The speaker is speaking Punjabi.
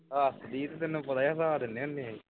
ਹੱਸਦੀ ਤੇ ਤੈਨੂੰ ਪਤਾ ਹੀ ਹੈ ਹੱਸਾ ਦਿੰਨੇ ਹੁੰਦੇ ਹਾਂ ਅਸੀਂ